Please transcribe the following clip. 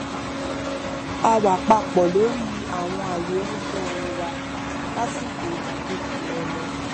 a wà papọ lórí àwọn ààyò irúfẹ orin wa lásìkò ìdákẹjẹ ìrọlẹ